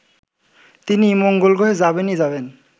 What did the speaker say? তিনি মঙ্গলগ্রহে যাবেনই যাবেন